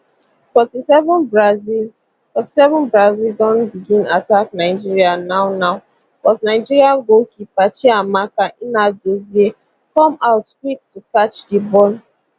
forty seven brazil forty seven brazil don begin attack nigeria now now but nigeria goalkeeper chiamaka nnadozie come out quick to catch di ball